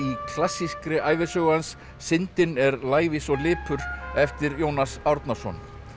klassíkri ævisögu hans syndin er lævís og lipur eftir Jónas Árnason